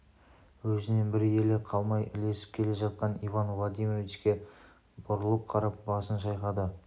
өзінен бір елі қалмай ілесіп келе жатқан иван владимировичке бұрылып қарап басын шайқады